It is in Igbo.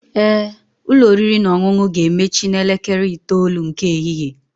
Ee, ụlọ oriri na ọṅụṅụ ga-emechi n'elekere 9:00 nke ehihie